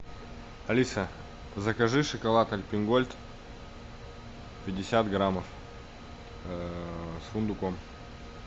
алиса закажи шоколад альпен гольд пятьдесят граммов с фундуком